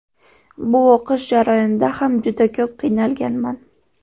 Bu o‘qish jarayonida ham juda ko‘p qiynalganman.